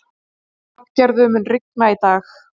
Hrafngerður, mun rigna í dag?